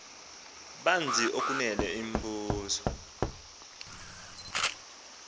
banzi okunene imbizo